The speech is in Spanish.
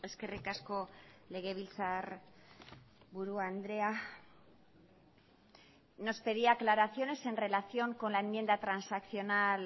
eskerrik asko legebiltzarburu andrea nos pedía aclaraciones en relación con la enmienda transaccional